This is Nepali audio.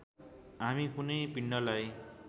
हामी कुनै पिण्डलाई